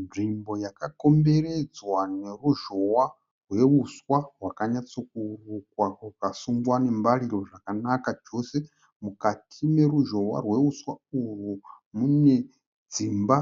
Nzvimbo yakakomberedzwa neruzhowa rweuswa hwakanyatsokurukwa ukasungwa nembariro zvakanaka chose. Mukati meruzhowa rwouswa uhwu mune dzimba